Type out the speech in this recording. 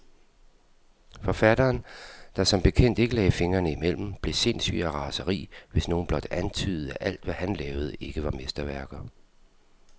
Forfatteren, der som bekendt ikke lagde fingrene imellem, blev sindssyg af raseri, hvis nogen blot antydede, at alt, hvad han lavede, ikke var mesterværker.